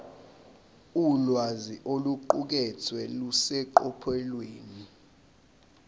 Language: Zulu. ulwazi oluqukethwe luseqophelweni